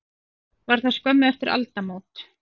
Var það skömmu eftir aldamót.